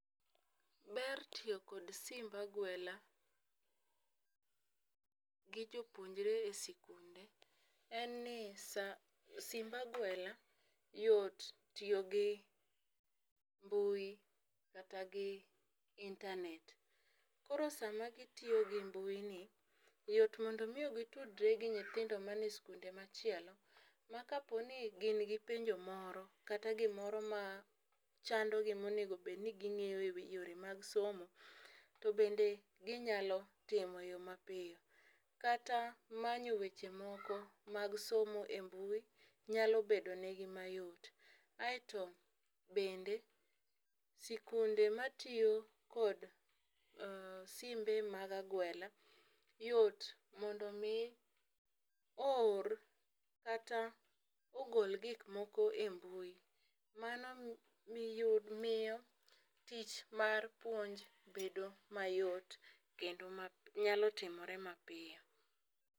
Ber tiyo kod simb agwela gi jopuonjre e sikunde en ni saa simb agwela yot tiyo gi mbui kata gi internet .Koro sama gitiyo gi mbui ni yot mondo mio gitudre gi nyithindo ma nie skunde machielo ma kapo ni gin gi penjo moro kta gimoro ma chando gi monego bed ni ging'eyo e yore mag somo to bende ginyalo timo eyoo mapiyo. Kata manyo weche moko mag somo e mbui nyalo bedo negi mayot. Aeto bende sikunde matiyo kod simbe mag agwela yot mondo mi oor kata ogol gik moko e mbui mano mi miyo tich mar puonj bedo mayot kendo ma nyalo timore ma piyo.